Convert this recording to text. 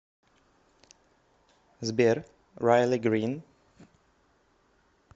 сбер райли грин